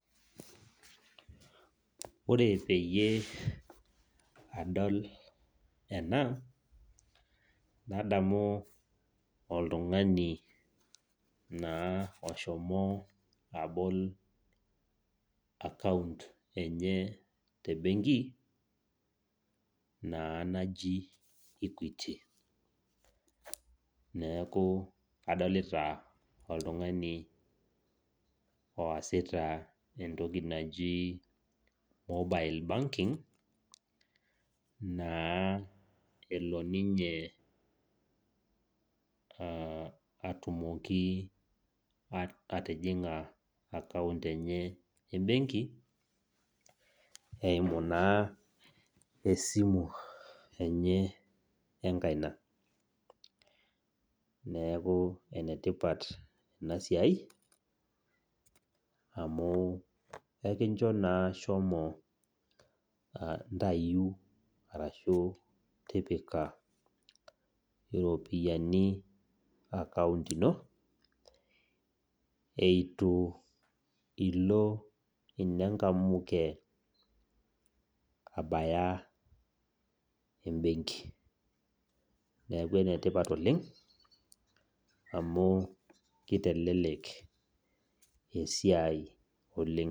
Ore peyie adol ena, nadamu oltung'ani naa oshomo abol akaunt enye tebenki, naa naji Equity. Neeku adolita oltung'ani oasita entoki naji mobile banking, naa elo ninye atumoki atijing'a akaunt enye ebenki, eimu esimu enye enkaina. Neeku enetipat enasiai, amu ekincho naa shomo ntayu arashu tipika iropiyiani akaunt ino, eitu ilo inenkamuke, abaya ebenki. Neeku enetipat oleng, amu kitelelek esiai oleng.